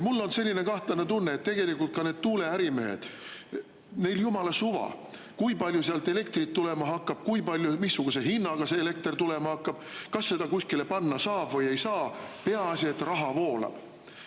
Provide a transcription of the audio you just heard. Mul on selline kahtlane tunne, et tegelikult ka need tuuleärimehed, neil on jumala suva, kui palju sealt elektrit tulema hakkab, kui palju ja missuguse hinnaga see elekter tulema hakkab, kas seda kuskile panna saab või ei saa, peaasi et raha voolab.